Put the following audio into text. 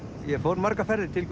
ég fór margar ferðir til